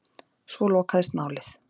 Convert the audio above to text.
Svo lokaðist málið.